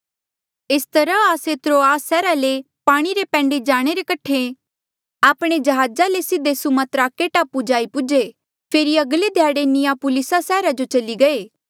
एस तरहा आस्से त्रोआस सैहरा ले पाणी रे पैंडे जाणे रे कठे आपणा जहाज ले सीधे सुमात्राके टापू जाई पूजे फेरी अगले ध्याड़े नियापुलिसा सैहरा जो चली गये